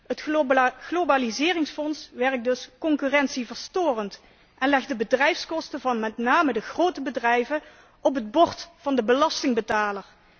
Het globaliseringsfonds werkt dus concurrentieverstorend en legt de bedrijfskosten van met name de grote bedrijven op het bord van de belastingbetaler.